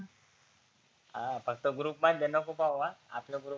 हा फक्त गृप मधल्या नको पाहु अं आपल्या गृप